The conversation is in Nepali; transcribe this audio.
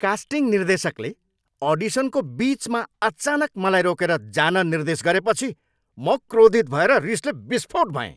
कास्टिङ निर्देशकले अडिसनको बिचमा अचानक मलाई रोकेर जान निर्देश गरेपछि म क्रोधित भएर रिसले विस्फोट भएँ।